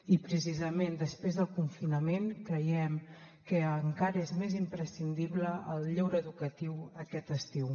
i precisament després del confinament creiem que encara és més imprescindible el lleure educatiu aquest estiu